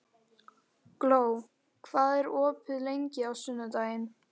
Gló, hvað er opið lengi á sunnudaginn?